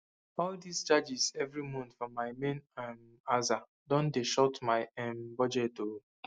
all dis charges every month for my main um aza don dey short my um budget o